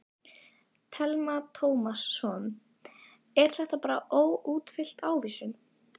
Telma Tómasson: Er þetta bara óútfyllt ávísun?